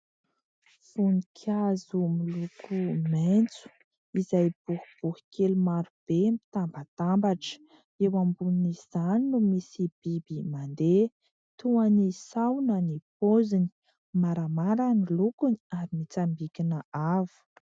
Voninkazo miloko maitso izay boribory kely marobe mitambatambatra. Eo ambonin'izany no misy biby mandeha toa ny sahona ny poziny, maramara ny lokony ary mitsambikina avo.